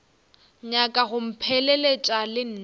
nyaka go mpheleletša le nna